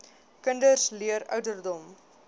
kinders leer ouderdom